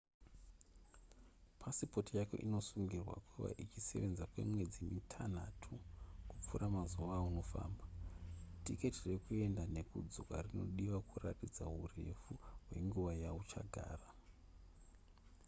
pasipoti yako inosungirwa kuva ichisevenza kwemwedzi mitanhatu kupfuura mazuva aunofamba tiketi rekuenda nekudzoka rinodiwa kuratidza hurefu hwenguva yauchagara